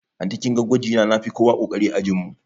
Anty kinga gwajina nafi kowa ƙoƙari a ajin mu